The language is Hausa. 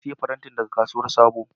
Na siya farentin daga kasuwan sabo.